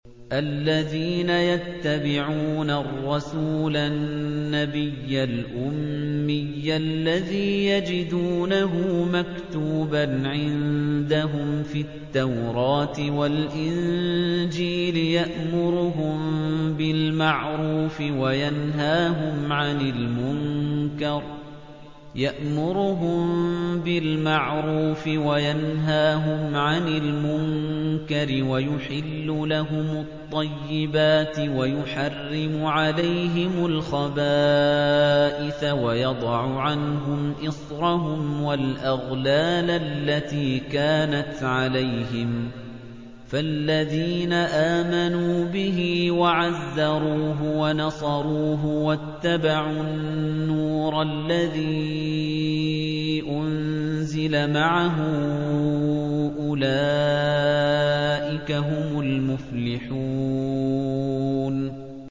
الَّذِينَ يَتَّبِعُونَ الرَّسُولَ النَّبِيَّ الْأُمِّيَّ الَّذِي يَجِدُونَهُ مَكْتُوبًا عِندَهُمْ فِي التَّوْرَاةِ وَالْإِنجِيلِ يَأْمُرُهُم بِالْمَعْرُوفِ وَيَنْهَاهُمْ عَنِ الْمُنكَرِ وَيُحِلُّ لَهُمُ الطَّيِّبَاتِ وَيُحَرِّمُ عَلَيْهِمُ الْخَبَائِثَ وَيَضَعُ عَنْهُمْ إِصْرَهُمْ وَالْأَغْلَالَ الَّتِي كَانَتْ عَلَيْهِمْ ۚ فَالَّذِينَ آمَنُوا بِهِ وَعَزَّرُوهُ وَنَصَرُوهُ وَاتَّبَعُوا النُّورَ الَّذِي أُنزِلَ مَعَهُ ۙ أُولَٰئِكَ هُمُ الْمُفْلِحُونَ